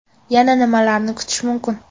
Yana nimalarni kutish mumkin?